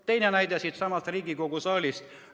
Teine näide siitsamast Riigikogu saalist.